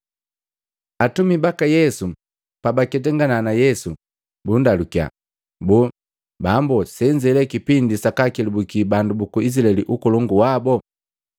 Atumi baka Yesu pabaketangana na Yesu, bundalukiya, “Boo, Bambo senze le kipindi sakaa kelabuki bandu buku Izilaeli ukolongu wabo?”